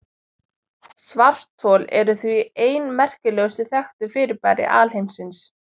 Svarthol eru því ein merkilegustu þekktu fyrirbæri alheimsins.